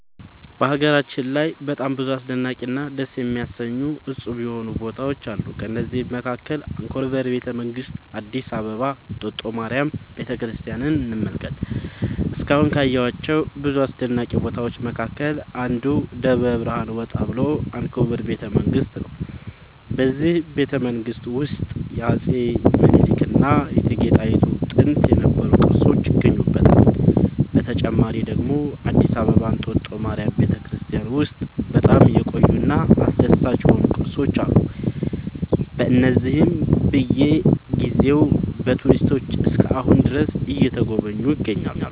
በሀገራችን ላይ በጣም ብዙ አስደናቂ እና ደስ የሚያሰኙ እፁብ የሆኑ ቦታዎች አሉ ከእነዚህም መካከል አንኮበር ቤተ መንግስት አዲስ አበባ እንጦጦ ማርያም ቤተክርስቲያንን እንመልከት እስካሁን ካየኋቸው ብዙ አስደናቂ ቦታዎች መካከል አንዱ ከደብረ ብርሃን ወጣ ብሎ አንኮበር ቤተ መንግስት ነው በዚህ ቤተመንግስት ውስጥ የአፄ ሚኒልክ እና የእቴጌ ጣይቱ ጥንት የነበሩ ቅርሶች ይገኙበታል። በተጨማሪ ደግሞ አዲስ አበባ እንጦጦ ማርያም ቤተክርስቲያን ውስጥ በጣም የቆዩ እና አስደሳች የሆኑ ቅርሶች አሉ እነዚህም በየ ጊዜው በቱሪስቶች እስከ አሁን ድረስ እየተጎበኙ ይገኛሉ